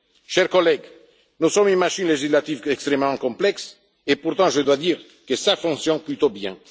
Chers collègues, nous sommes une machine législative extrêmement complexe et, pourtant, je dois dire que cela fonctionne plutôt bien.